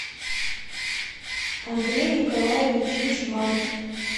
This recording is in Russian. андрей николаевич юшманов